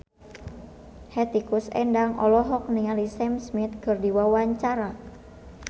Hetty Koes Endang olohok ningali Sam Smith keur diwawancara